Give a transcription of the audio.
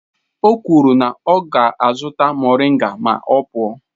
O kwuru na ya ga-azụta moringa ma ọ pụọ.